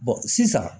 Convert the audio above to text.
sisan